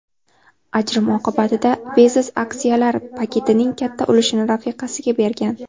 Ajrim oqibatida Bezos aksiyalar paketining katta ulushini rafiqasiga bergan.